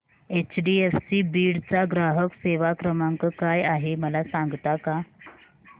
HDFC Beed चा ग्राहक सेवा क्रमांक काय आहे मला सांगता का